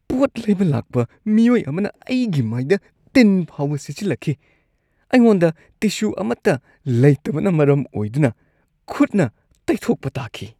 ꯄꯣꯠ ꯂꯩꯕ ꯂꯥꯛꯄ ꯃꯤꯑꯣꯏ ꯑꯃꯅ ꯑꯩꯒꯤ ꯃꯥꯏꯗ ꯇꯤꯟ ꯐꯥꯎꯕ ꯁꯤꯠꯆꯤꯜꯂꯛꯈꯤ꯫ ꯑꯩꯉꯣꯟꯗ ꯇꯤꯁꯨ ꯑꯃꯠꯇ ꯂꯩꯇꯕꯅ ꯃꯔꯝ ꯑꯣꯏꯗꯨꯅ ꯈꯨꯠꯅ ꯇꯩꯊꯣꯛꯄ ꯇꯥꯈꯤ꯫